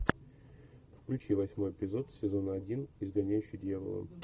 включи восьмой эпизод сезона один изгоняющий дьявола